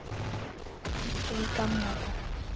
Eins og í gamla daga.